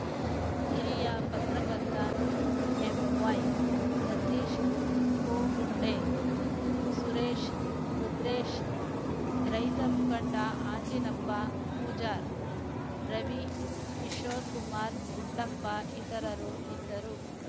ಹಿರಿಯ ಪತ್ರಕರ್ತ ಎಂವೈಸತೀಶ ಕೋಗುಂಡೆ ಸುರೇಶ ರುದ್ರೇಶ ರೈತ ಮುಖಂಡ ಅಂಜಿನಪ್ಪ ಪೂಜಾರ್‌ ರವಿ ಕಿಶೋರಕುಮಾರ ಗುಡ್ಡಪ್ಪ ಇತರರು ಇದ್ದರು